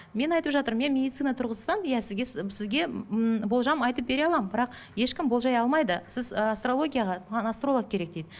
мен айтып жатырмын мен медицина тұрғысынан иә сізге сізге ммм болжам айтып бере аламын бірақ ешкім болжай алмайды сіз ыыы асторолгияға маған астролог керек дейді